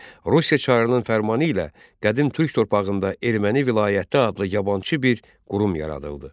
Rusiya çarının fərmanı ilə qədim türk torpağında Erməni vilayəti adlı yabançı bir qurum yaradıldı.